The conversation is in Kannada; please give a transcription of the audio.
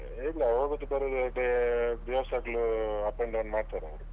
ಇಲ್ಲ ಹೋಗುದು ಬರುದು ಅದೇ ದಿವಸಾಗ್ಲು up and down ಮಾಡ್ತಾರೆ ಅವ್ರು.